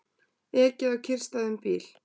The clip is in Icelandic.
Ekið á kyrrstæðan bíl